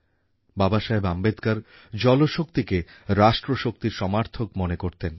বাবাসাহেব আম্বেদকর জলশক্তিকেরাষ্ট্রশক্তির সমার্থক মনে করতেন